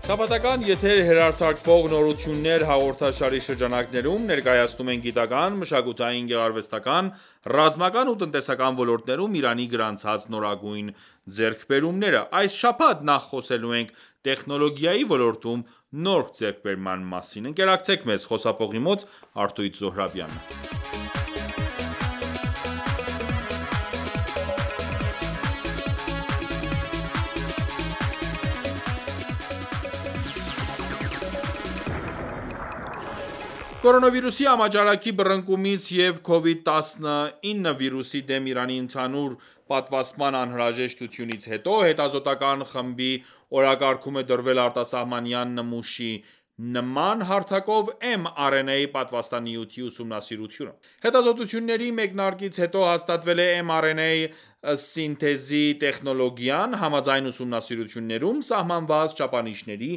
Շաբաթական եթեր հեռարձակվող «Նորություններ» հաղորդաշարի շրջանակներում, ներկայացնում ենք գիտական, մշակութային, գեղարվեստական, ռազմական ու տնտեսական ոլորտներում Իրանի գրանցած նորագույն ձեռքբերումները։ Այս շաբաթ նախ խոսելու ենք տեխնոլոգիայի ոլորտում նոր ձեռքբերման մասին: Կորոնավիրուսի համաճարակի բռնկումից և Covid-19 վիրուսի դեմ Իրանի ընդհանուր պատվաստման անհրաժեշտությունից հետո հետազոտական ​​խմբի օրակարգում է դրվել արտասահմանյան նմուշի նման հարթակով mRNA պատվաստանյութի ուսումնասիրությունը։ Հետազոտությունների մեկնարկից հետո հաստատվել է mRNA սինթեզի տեխնոլոգիան, համաձայն ուսումնասիրություններում սահմանված չափանիշների,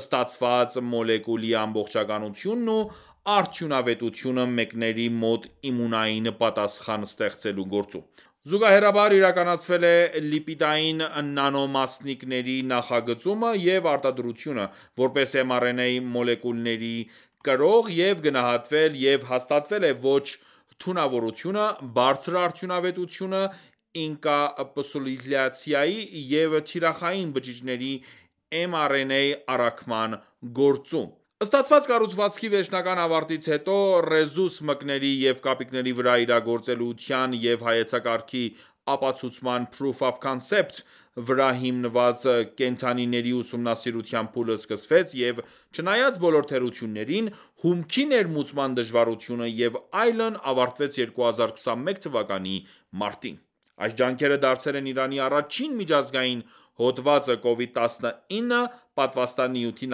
ստացված մոլեկուլի ամբողջականությունն ու արդյունավետությունը մկների մոտ իմունային պատասխան ստեղծելու գործում: Զուգահեռաբար իրականացվել է լիպիդային նանոմասնիկների նախագծումը և արտադրությունը՝ որպես mRNA մոլեկուլների կրող, և գնահատվել և հաստատվել է ոչ թունավորությունը, բարձր արդյունավետությունը ինկապսուլյացիայի և թիրախային բջիջներին mRNA առաքման գործում: Ստացված կառուցվածքի վերջնական ավարտից հետո ռեզուս մկների և կապիկների վրա իրագործելիության և հայեցակարգի ապացուցման (Proof of Concept) վրա հիմնված կենդանիների ուսումնասիրության փուլը սկսվեց և, չնայած բոլոր թերություններին, հումքի ներմուծման դժվարությունը և այլն ավարտվեց 2021 թվականի մարտին։ Այս ջանքերը դարձել են Իրանի առաջին միջազգային հոդվածը «Կովիդ 19» պատվաստանյութի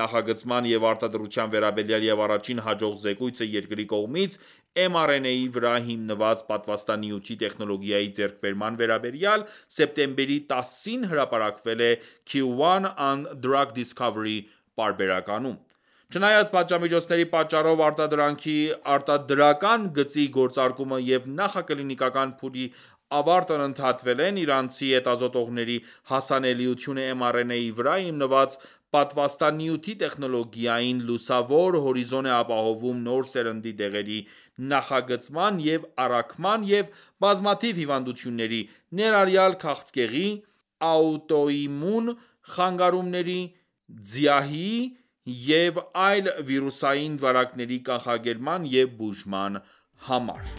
նախագծման և արտադրության վերաբերյալ և առաջին հաջող զեկույցը երկրի կողմից mRNA-ի վրա հիմնված պատվաստանյութի տեխնոլոգիայի ձեռքբերման վերաբերյալ սեպտեմբերի 10-ին հրապարակվել է (Q1 on Drug Discovery) պարբերականում: Չնայած պատժամիջոցների պատճառով արտադրանքի արտադրական գծի գործարկումը և նախակլինիկական փուլի ավարտն ընդհատվել են, Իրանցի հետազոտողների հասանելիությունը mRNA-ի վրա հիմնված պատվաստանյութի տեխնոլոգիային լուսավոր հորիզոն է ապահովում նոր սերնդի դեղերի նախագծման և առաքման և բազմաթիվ հիվանդությունների, ներառյալ քաղցկեղի, աուտոիմուն խանգարումների, ՁԻԱՀ-իը և այլ վիրուսային վարակների կանխարգելման և բուժման համար։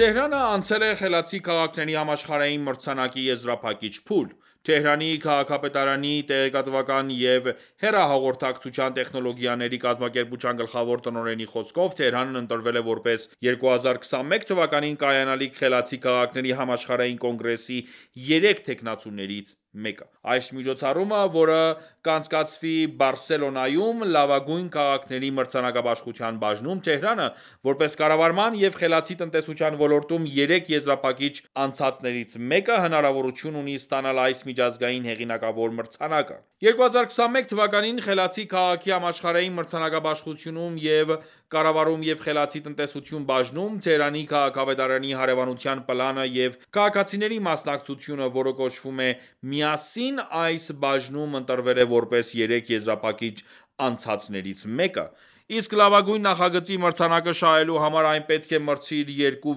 Թեհրանը անցել է Խելացի քաղաքների համաշխարհային մրցանակի եզրափակիչ փուլ: Թեհրանի քաղաքապետարանի տեղեկատվական և հեռահաղորդակցության տեխնոլոգիաների կազմակերպության գլխավոր տնօրենի խոսքով՝ Թեհրանն ընտրվել է որպես 2021 թվականին կայանալիք Խելացի քաղաքների համաշխարհային կոնգրեսի երեք թեկնածուներից մեկը։ Այս միջոցառումը, որը կանցկացվի Բարսելոնայում, լավագույն քաղաքների մրցանակաբաշխության բաժնում, Թեհրանը, որպես կառավարման և խելացի տնտեսության ոլորտում երեք եզրափակիչ անցածներից մեկը, հնարավորություն ունի ստանալ այս միջազգային հեղինակավոր մրցանակը։ 2021 թվականին Խելացի քաղաքի համաշխարհային մրցանակաբաշխությունում և «Կառավարում և խելացի տնտեսություն» բաժնում, Թեհրանի քաղաքապետարանի հարևանության պլանը և քաղաքացիների մասնակցությունը, որը կոչվում է «Միասին» այս բաժնում ընտրվել է որպես երեք եզրափակիչ անցածներից մեկը: Իսկ լավագույն նախագծի մրցանակը շահելու համար այն պետք է մրցի իր երկու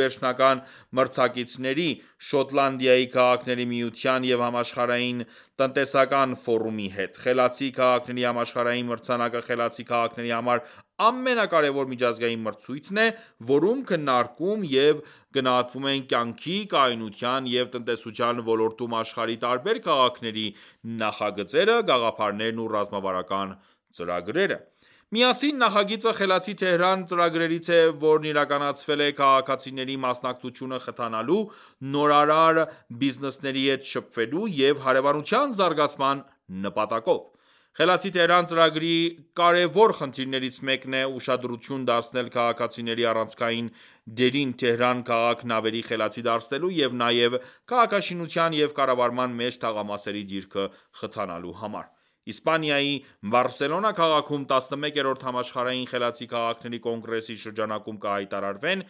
վերջնական մրցակիցների՝ Շոտլանդիայի քաղաքների միության և Համաշխարհային տնտեսական ֆորումի հետ: Խելացի քաղաքների համաշխարհային մրցանակը խելացի քաղաքների համար ամենակարևոր միջազգային մրցույթն է, որում քննարկվում և գնահատվում են կյանքի, կայունության և տնտեսության ոլորտներում աշխարհի տարբեր քաղաքների նախագծերը, գաղափարներն ու ռազմավարական ծրագրերը: «Միասին» նախագիծը խելացի Թեհրան ծրագրերից է, որն իրականացվել է քաղաքացիների մասնակցությունը խթանելու, նորարար բիզնեսների հետ շփվելու և հարևանության զարգացման նպատակով։ Խելացի Թեհրան ծրագրի կարևոր խնդիրներից մեկն է ուշադրություն դարձնել քաղաքացիների առանցքային դերին Թեհրան քաղաքն ավելի խելացի դարձնելու և նաև քաղաքաշինության և կառավարման մեջ թաղամասերի դիրքը խթանելու համար։ Իսպանիայի Բարսելոնա քաղաքում 11-րդ Համաշխարհային խելացի քաղաքների կոնգրեսի շրջանակում կհայտարարվեն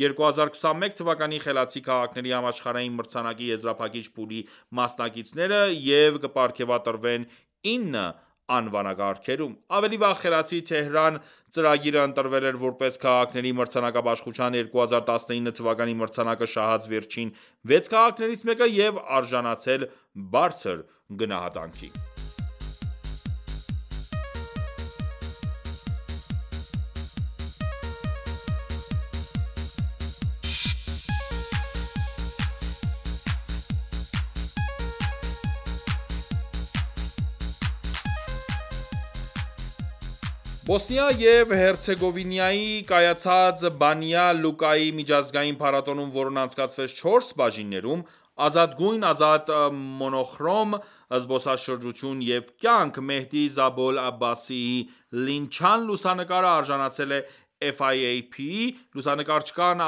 2021 թվականի խելացի քաղաքների համաշխարհային մրցանակի եզրափակիչ փուլի մասնակիցները և կպարգևատրվեն 9 անվանակարգերում: Ավելի վաղ խելացի Թեհրան ծրագիրը ընտրվել էր որպես քաղաքների մրցանակաբաշխության 2019 թվականի մրցանակը շահած վերջին վեց քաղաքներից մեկը և արժանացել բարձր գնահատանքի: Բոսնիա և Հերցեգովինայի կայացած Բանյա Լուկայի միջազգային փառատոնում, որն անցկացվեց չորս բաժիններով՝ ազատ գույն, ազատ մոնոխրոմ, զբոսաշրջություն և կյանք, Մեհդի Զաբոլ Աբբասիի «Լինչան» լուսանկարը արժանացել է FIAP-ի (Լուսանկարչական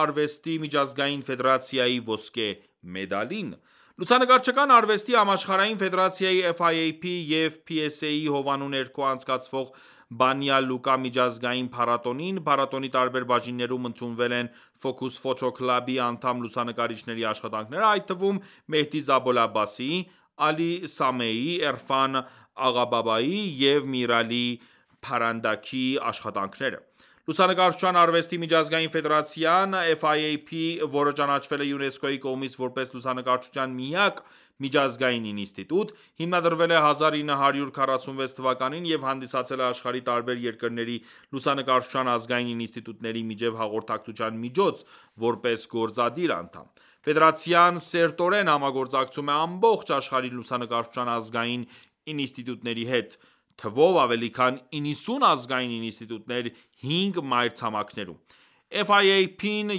արվեստի միջազգային ֆեդերացիա) ոսկե մեդալին։ Լուսանկարչական արվեստի համաշխարհային ֆեդերացիայի և PSA-ի հովանու ներքո անցկացվող Բանյա Լուկա միջազգային փառատոնին, փառատոնի տարբեր բաժիններում ընդունվել են Focus Photo Club-ի անդամ լուսանկարիչների աշխատանքները, այդ թվում՝ Մեհդի Զաբոլ Աբբասիի, Ալի Սամեիի, Էրֆան Աղաբաբայիի և Միր Ալի Փարանդաքի աշխատանքները։ Լուսանկարչության արվեստի միջազգային ֆեդերացիան, որը ճանաչվել է ՅՈՒՆԵՍԿՕ-ի կողմից որպես լուսանկարչության միակ միջազգային ինստիտուտ, հիմնադրվել է 1946 թվականին և հանդիսացել է աշխարհի տարբեր երկրների լուսանկարչության ազգային ինստիտուտների միջև հաղորդակցության միջոց, որպես գործադիր անդամ՝ ֆեդերացիան սերտորեն համագործակցում է ամբողջ աշխարհի լուսանկարչության ազգային ինստիտուտների հետ՝ թվով ավելի քան 90 ազգային ինստիտուտներ հինգ մայրցամաքներում: FIAP-ը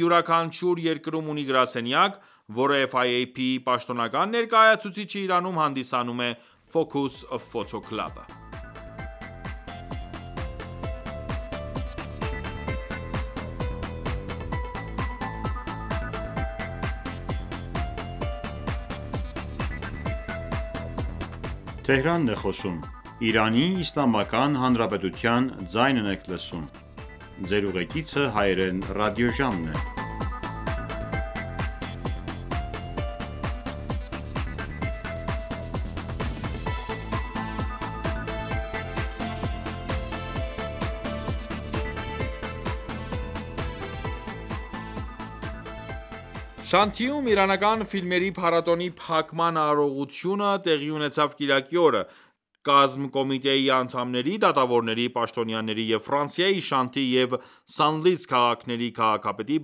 յուրաքանչյուր երկրում ունի գրասենյակ, որը FIAP-ի պաշտոնական ներկայացուցիչը Իրանում հանդիսանում է«Focus Photo Club»-ը: Շանթիում իրանական ֆիլմերի փառատոնի փակման արարողությունը տեղի ունեցավ կիրակի օրը, կազմկոմիտեի անդամների, դատավորների, պաշտոնյաների և Ֆրանսիայի Շանտի և Սանլիս քաղաքների քաղաքապետի,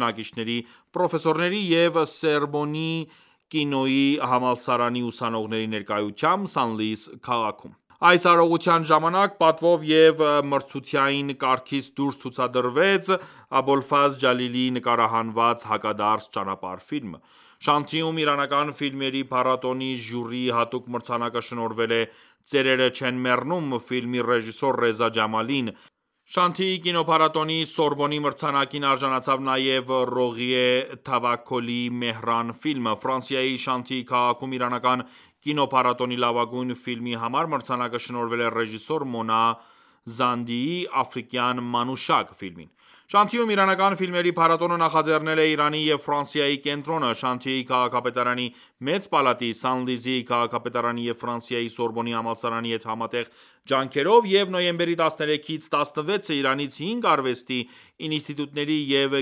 բնակիչների, պրոֆեսորների և Սորբոնի կինոյի համալսարանի ուսանողների ներկայությամբ Սանլիս քաղաքում: Այս արարողության ժամանակ պատվով և մրցութային կարգից դուրս ցուցադրվեց Աբոլֆազլ Ջալիլիի նկարահանած «Հակադարձ ճանապարհ» ֆիլմը։ Շանթիում իրանական ֆիլմերի փառատոնի ժյուրիի հատուկ մրցանակը շնորհվել է «Ծերերը չեն մեռնում» ֆիլմի ռեժիսոր Ռեզա Ջամալին։ «Շանթիի» կինոփառատոնի Սորբոնի մրցանակին արժանացավ նաեւ Ռողիե Թավաքոլիի «Մեհրան» ֆիլմը։ Ֆրանսիայի Շանթիի քաղաքում իրանական կինոփառատոնի լավագույն ֆիլմի համար մրցանակը շնորհվել է ռեժիսոր Մոնա Զանդիի «Աֆրիկյան մանուշակ» ֆիլմին։ Շանթիում իրանական ֆիլմերի փառատոնը նախաձեռնել են «Իրանի և Ֆրանսիայի կենտրոնը»՝ Շանթիի քաղաքապետարանի, Մեծ պալատի, Սանլիսի քաղաքապետարանի և Ֆրանսիայի Սորբոնի համալսարանի հետ համատեղ ջանքերով և նոյեմբերի 13-ից 16-ը Իրանից հինգ արվեստի ինստիտուտների և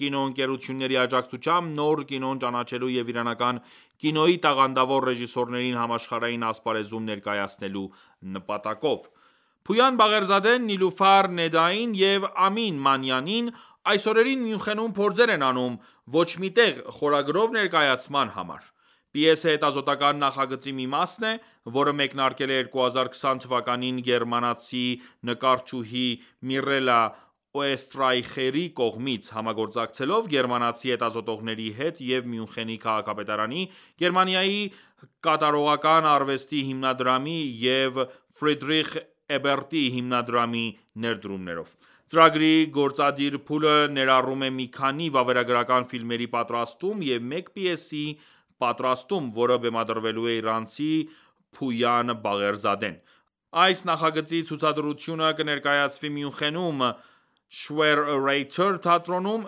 կինոընկերությունների աջակցությամբ նոր կինոն ճանաչելու և իրանական կինոյի տաղանդավոր ռեժիսորներին համաշխարհային ասպարեզում ներկայացնելու նպատակով։ Փույան Բաղերզադեն Նիլուֆար Նեդային և Ամին Մանյանին այս օրերին Մյունխենում փորձեր են անում «Ոչ մի տեղ» խորագրով ներկայացման համար: Պիեսը հետազոտական ​​նախագծի մի մասն է, որը մեկնարկել է 2020 թվականին գերմանացի նկարչուհի Միրելլա Օեստրայխերի կողմից՝ համագործակցելով գերմանացի հետազոտողների հետ և Մյունխենի քաղաքապետարանի, Գերմանիայի Կատարողական արվեստի հիմնադրամի և Ֆրիդրիխ Էբերտի հիմնադրամի ներդրումներով։ Ծրագրի գործադիր փուլը ներառում է մի քանի վավերագրական ֆիլմերի պատրաստում և մեկ պիեսի պատրաստում, որը բեմադրելու է իրանցի Փույան Բաղերզադեն: Այս նախագծի ցուցադրությունը կներկայացվի Մյունխենում՝ Schwere Reiter թատրոնում։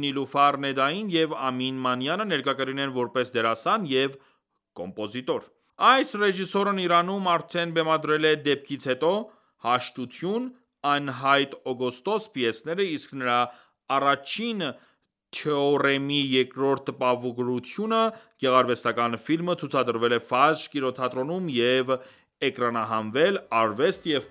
Նիլուֆար Նեդային և Ամին Մանյանը ներկա կլինեն որպես դերասան և կոմպոզիտոր։ Այս ռեժիսորն Իրանում արդեն բեմադրել է «Դեպքից հետո», «Հաշտություն», «Անհայտ օգոստոս» պիեսները, իսկ նրա «Առաջին թեորեմի երկրորդ տպավորությունը» գեղարվեստական ​​ֆիլմը ցուցադրվել է Ֆաջր կինոփառատոնում և էկրանահանվել «Արվեստ և